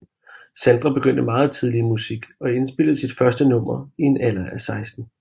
Sandra begyndte meget tidligt i musik og indspillede sit første nummer i en alder af 16